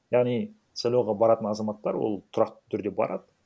яғни сайлауға баратын азаматтар ол тұрақты түрде барады